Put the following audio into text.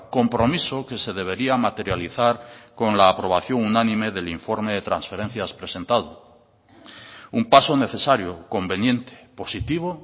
compromiso que se debería materializar con la aprobación unánime del informe de transferencias presentado un paso necesario conveniente positivo